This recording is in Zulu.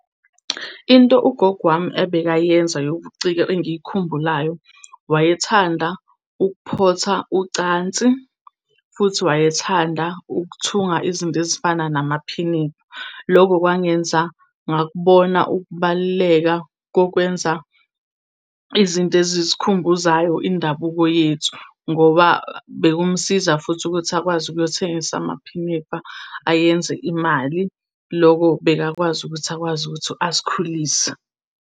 Into ugogo wami ebekayenza yobuciko engiyikhumbulayo, wayethanda ukuphotha ucansi, futhi wayethanda ukuthunga izinto ezifana namaphinifa. Loko kwangenza ngakubona ukubaluleka kokwenza izinto ezisikhumbuzayo indabuko yethu ngoba bekumsiza futhi ukuthi akwazi ukuyothengisa amaphinifa ayenze imali. Loko bekakwazi ukuthi akwazi ukuthi asikhulise.